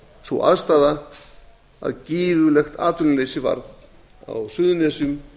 sú aðstaða að gífurlegt atvinnuleysi varð á suðurnesjum